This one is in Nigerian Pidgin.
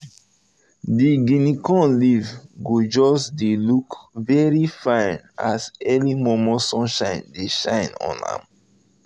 the guinea corn leave go just dey look very fine as early momo sunlight dey shine on am